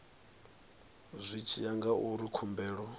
zwi tshi ya ngauri khumbelo